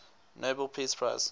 nobel peace prize